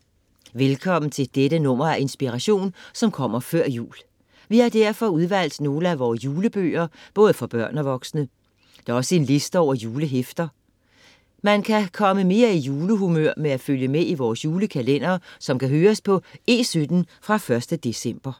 Velkommen til dette nummer af Inspiration som kommer før jul. Vi har derfor udvalgt nogle af vores julebøger, både for børn og voksne. Der er også en liste over julehæfter. Man kan komme mere i julehumør ved at følge med i vores julekalender, som kan høres på E17 fra 1. december.